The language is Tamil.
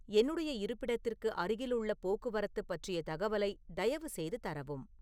என்னுடைய இருப்பிடத்திற்கு அருகிலுள்ள போக்குவரத்து பற்றிய தகவலை தயவு செய்து தரவும்